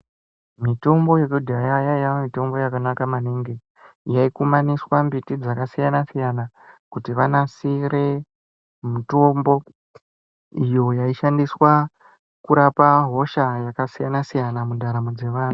Mitombo yekudhaya yaiya mitombo yakanaka maningi. Yaikumaniswa mbiti dzakasiyana-siyana, kuti vakasire mitombo, iyo yaishandiswa kurapa hosha yakasiyana-siyana mundaramo dzevanhu.